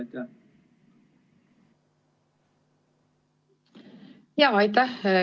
Aitäh!